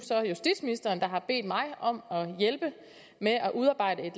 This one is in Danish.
justitsministeren der har bedt mig om at hjælpe med at udarbejde et